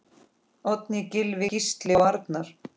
Oddný, Gylfi, Gísli og Arnar.